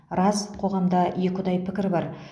рас қоғамда екіұдай пікір бар